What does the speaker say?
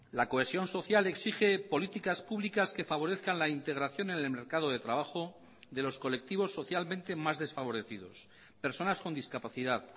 la cohesión social exige políticas públicas que favorezcan la integración en el mercado de trabajo de los colectivos socialmente más desfavorecidos personas con discapacidad